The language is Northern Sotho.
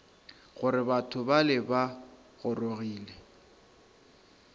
gore batho bale ba gorogile